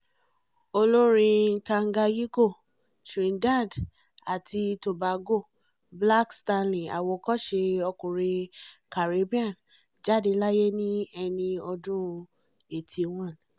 olórin canganyiko trinidad àti tobago black stalin àwòkọ́ṣe ọkùnrin caribbean jáde láyé ní ẹni ọdún eighty one